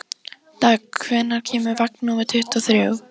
Dögg, hvenær kemur vagn númer tuttugu og þrjú?